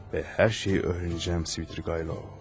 Və hər şeyi öyrənəcəm Svidrigaylov.